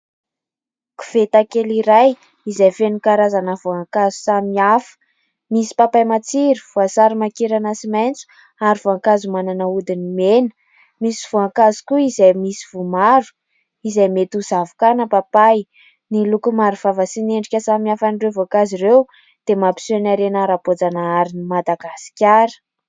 Koveta kely iray izay feno karazana voankazo samihafa : misy papay matsiro, voasary makirana sy maitso ary voankazo manana hodiny mena. Misy voankazo koa izay misy voa maro izay mety ho zavoka na papay. Ny loko maro vava sy ny endrika samihafa an'ireo voankazo ireo dia mampiseho ny harena ara-boajanaharin'i Madagasikara.